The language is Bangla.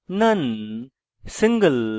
none single